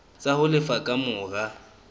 tsa ho lefa ka mora